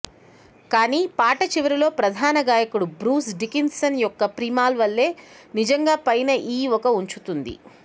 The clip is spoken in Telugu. కానీ పాట చివరిలో ప్రధాన గాయకుడు బ్రూస్ డికిన్సన్ యొక్క ప్రిమాల్ వల్లే నిజంగా పైన ఈ ఒక ఉంచుతుంది